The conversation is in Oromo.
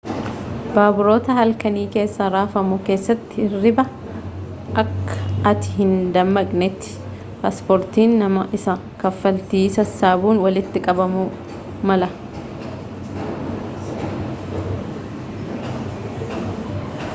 baaburoota halkanii keessa rafamu keessatti hirribaa akka ati hindammaqnetti paaspoortiin nama isa kaffaltii sassaabuun walitti qabamuu mala